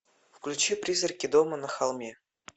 включи призраки дома на холме